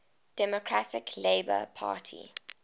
democratic labour party